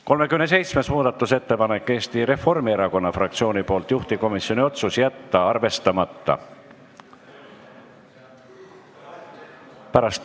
37. muudatusettepanek on Eesti Reformierakonna fraktsioonilt, juhtivkomisjoni otsus: jätta arvestamata.